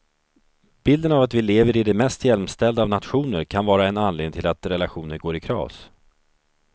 Bilden av att vi lever i den mest jämställda av nationer kan vara en anledning till att relationer går i kras.